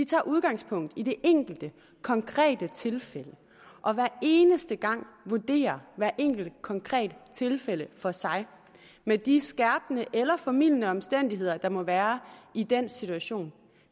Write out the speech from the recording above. tager udgangspunkt i det enkelte konkrete tilfælde og hver eneste gang vurderer hvert enkelt konkret tilfælde for sig med de skærpende eller formildende omstændigheder der må være i den situation